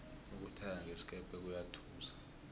ukuthaya ngesikepe kuyathusa